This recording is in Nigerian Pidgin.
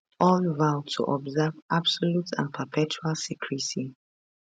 all vow to observe absolute and perpetual secrecy